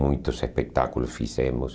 Muitos espetáculos fizemos.